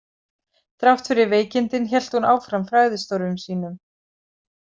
Þrátt fyrir veikindin hélt hún áfram fræðistörfum sínum.